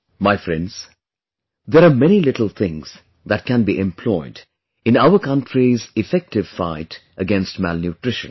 My Friends, there are many little things that can be employed in our country's effective fight against malnutrition